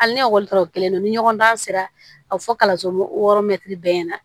Hali ni ekɔli taara o kelen na ni ɲɔgɔndan sera a bɛ fɔ kalanso hɔrɔn bɛɛ ɲɛna